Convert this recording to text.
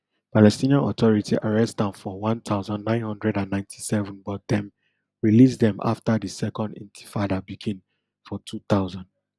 palestinian authority arrest am for one thousand, nine hundred and ninety-seven but dem release dem afta di second intifada begin for two thousand